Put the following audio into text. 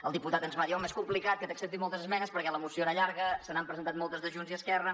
el diputat ens va dir home és complicat que t’acceptin moltes esmenes perquè la moció era llarga se n’han presentat moltes de junts i esquerra